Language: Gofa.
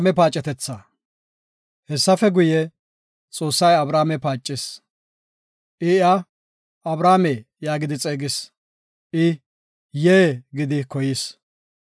Hessafe guye, Xoossay Abrahaame paacis; iya, “Abrahaame” yaagidi xeegis. I, “Yee” gidi koyis.